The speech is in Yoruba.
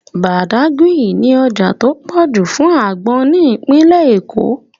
Badagry ní ọjà tó pọ̀ jù fún àgbọn ní ìpínlẹ̀ Èkó